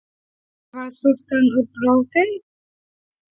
Hvar var stúlkan úr Brokey?